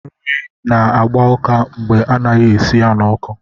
Nri na-agba ụká mgbe ana-esighị ya n'ọkụ.